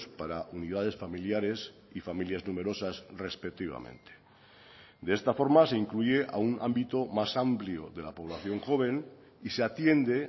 para unidades familiares y familias numerosas respectivamente de esta forma se incluye a un ámbito más amplio de la población joven y se atiende